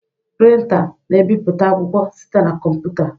Printá na-ebipụta akwụkwọ site na kọmputa.